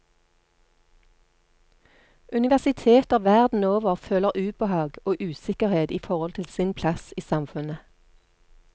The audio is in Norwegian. Universiteter verden over føler ubehag og usikkerhet i forhold til sin plass i samfunnet.